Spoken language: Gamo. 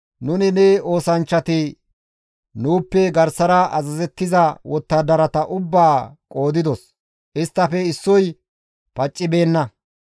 «Nuni ne oosanchchati nuuppe garsara azazettiza wottadarata ubbaa qoodidos; isttafe issoyka paccibeenna;